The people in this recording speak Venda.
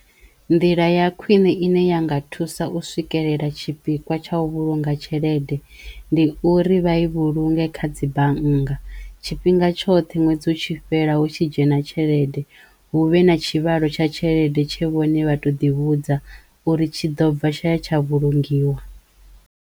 Nḓila ya khwine i ne ya nga thusa u swikelela tshipikwa tshau vhulunga tshelede ndi uri vha i vhulunge kha dzi bannga tshifhinga tshoṱhe ṅwedzi u tshi fhela hu tshi dzhena tshelede huvhe na tshivhalo tsha tshelede tshe vhone vha to ḓi vhudza uri tshi ḓo bva tshaya tsha vhulungiwa.